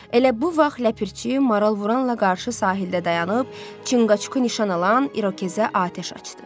Elə bu vaxt Ləpirçi maralvuranla qarşı sahildə dayanıb, Çıqqaçu nişan alan irokezə atəş açdı.